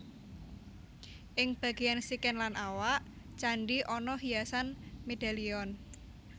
Ing bagéyan sikil lan awak candhi ana hiasan medalion